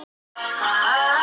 Sjávarlónið í baksýn.